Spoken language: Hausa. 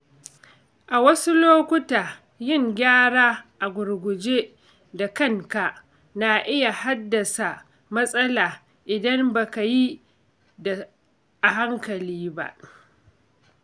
A wasu lukota, yin gyara a gurguje da kanka na iya haddasa matsala idan ba ka yi a hankali ba.